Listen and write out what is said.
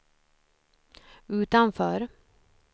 utanför